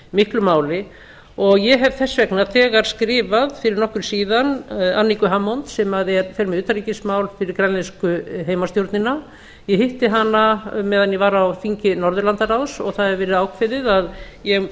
miklu máli og ég hef þess vegna þegar skrifað fyrir nokkru síðan aniku hammond sem fer með utanríkismál fyrir grænlensku heimastjórnina ég hitti hana meðan ég var á þingi norðurlandaráðs og það hefur verið ákveðið að ég